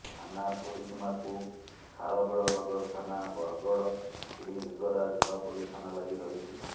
ଥାନା ପରିସୀମାକୁ ଖାରବେଳନଗର ଥାନା ବଡ଼ଗଡ଼ ଶ୍ରୀଲିଙ୍ଗରାଜ ନୂଆପଲ୍ଲୀ ଥାନା ଲାଗି ରହିଛି